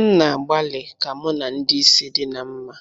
M na-agbalị ka mụ na ndị isi di na mma